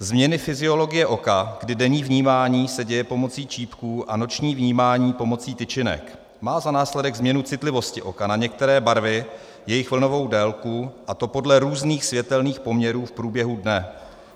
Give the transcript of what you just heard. Změny fyziologie oka, kdy denní vnímání se děje pomocí čípků a noční vnímání pomocí tyčinek, má za následek změnu citlivosti oka na některé barvy, jejich vlnovou délku, a to podle různých světelných poměrů v průběhu dne.